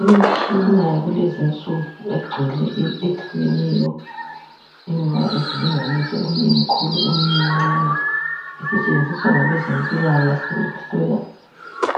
Imitshina yakulezi nsuku egcwele eyehlukeneyo ima ngesilinganiso eminye mikhulu eminye mincane isetshenziswa ngabezempila kahle ukuhlola